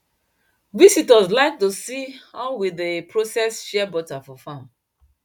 visitors like to see how we dey process shea butter for farm